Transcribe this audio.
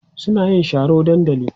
suna yin Sharo dandali